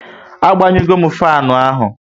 A gbanyu go m fanu ahụ